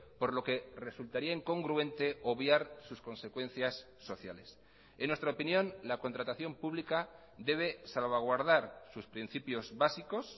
por lo que resultaría incongruente obviar sus consecuencias sociales en nuestra opinión la contratación pública debe salvaguardar sus principios básicos